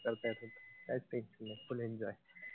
मग काय तर काहीच tension नाई full enjoy.